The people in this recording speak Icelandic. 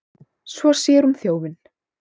Svo sér hún þjófinn.